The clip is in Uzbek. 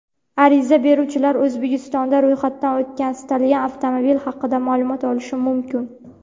Ariza beruvchilar O‘zbekistonda ro‘yxatdan o‘tgan istalgan avtomobil haqida ma’lumot olishi mumkin.